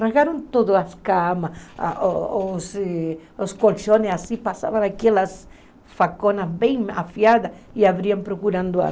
Rasgaram todas as camas, a a os colchões, passavam aquelas faconas bem afiadas e abriam procurando armas.